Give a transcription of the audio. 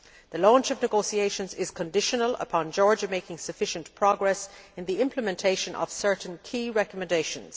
The launch of negotiations is conditional upon Georgia making sufficient progress in the implementation of certain key recommendations'.